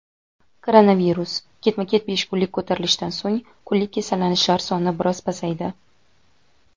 Koronavirus: ketma-ket besh kunlik ko‘tarilishdan so‘ng kunlik kasallanishlar soni biroz pasaydi.